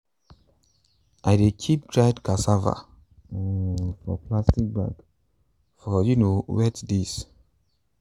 i dey keep dried cassava um for plastic bag for um wet days.